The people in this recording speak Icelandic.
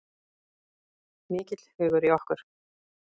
Mikill hugur í okkur